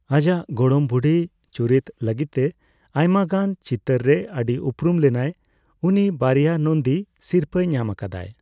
ᱟᱡᱟᱜ ᱜᱚᱲᱚᱢ ᱵᱩᱰᱷᱤ ᱪᱩᱨᱤᱛ ᱞᱟᱹᱜᱤᱫᱛᱮ ᱟᱭᱢᱟ ᱜᱟᱱ ᱪᱤᱛᱟᱹᱨ ᱨᱮ ᱟᱹᱰᱤ ᱩᱯᱨᱩᱢ ᱞᱮᱱᱟᱭ ᱾ ᱩᱱᱤ ᱵᱟᱨᱭᱟ ᱱᱚᱱᱫᱤ ᱥᱤᱨᱯᱟᱹᱭ ᱧᱟᱢ ᱟᱠᱟᱫᱟᱭ ᱾